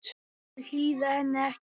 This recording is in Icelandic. Þau hlýða henni ekki.